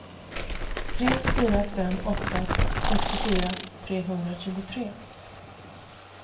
tre fyra fem åtta sextiofyra trehundratjugotre